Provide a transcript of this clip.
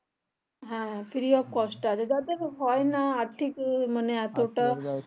হ্যাঁ free of cost হবে যাদের হয়না আর্থিক